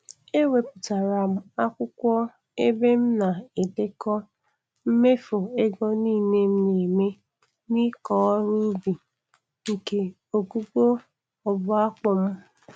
Ewepụtara m akwụkwọ ebe m na-edekọ mmefu ego nile m na-eme n'ịkọ ọrụ ubi nke ogugo ọbua akpụ m.